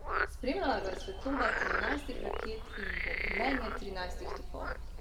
Spremljala ga je svetloba trinajstih raket in bobnenje trinajstih topov.